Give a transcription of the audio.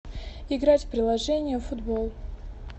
играть в приложение футбол